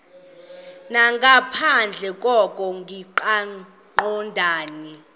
nangaphandle koko kungaqondani